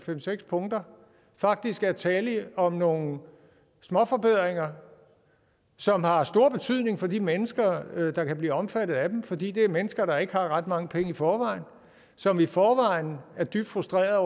fem seks punkter faktisk er tale om nogle småforbedringer som har stor betydning for de mennesker der kan blive omfattet af dem altså fordi det er mennesker der ikke har ret mange penge i forvejen og som i forvejen er dybt frustrerede og